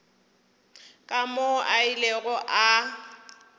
ka moo a ilego a